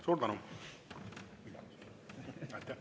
Suur tänu!